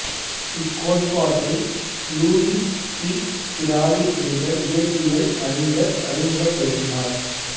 இக்கோட்பாட்டை Louis de Broglie என்ற இயற்பியல் அறிஞர் அறிமுகப்படுத்தினார்